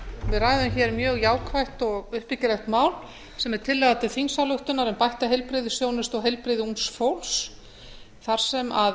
við ræðum hér mjög jákvætt og uppbyggilegt mál sem er tillaga til þingsályktunar um bætta heilbrigðisþjónustu og heilbrigði ungs fólks þar sem